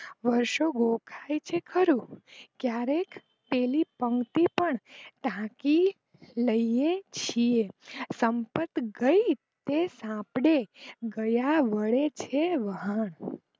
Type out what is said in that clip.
વર્ષો દેખાય છે ખરું ક્યારેક એની પંક્તિ પણ ઢાંકી લઈએ છીએ સંપત ગઈ થઇ તે આપડે ગયા વડે છે વહન